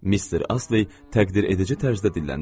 Mister Astley təqdir edici tərzdə dilləndi.